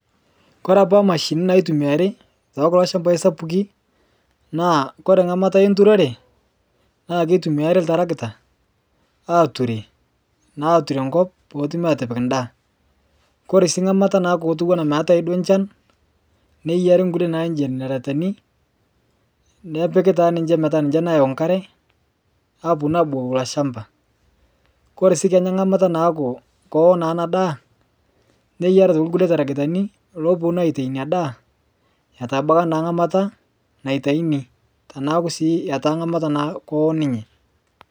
Kore apa mashinini naitumiyari tekulo shambai sapuki, naa kore ng'amata enturore, naa keitumiyari ltaragita ature naa ature nkop peetumi atipik ndaa. Kore sii ng'amata naaku kotuwana meatae duo nchan, neyiari nkule naaji jeneretani nepiki taa ninche petaa ninche nayeu nkare aaponu aabukoki ilo shamba. Kore sii kenya ng'amata naaku kowo naa ana daa, neyiari atoki kule taragitani looponu aitai inia daa etabaka naa ng'amata naitaini, teneaku sii etaa ng'amata naa kowo ninye.